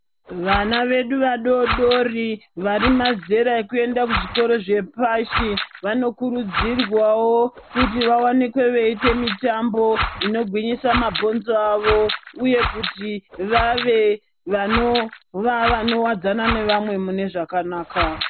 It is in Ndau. Vana vedu vadodori vari mazera ekuenda ku zvikora zvepashi vano kurudzirwawo kuti va wanikwe veite mitambo ino gwinyisa mabhonzo avo uye kuti vave vanova vano wadzana nevamwe mune zvakanaka.